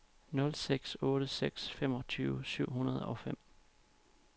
nul seks otte seks femogtyve syv hundrede og fem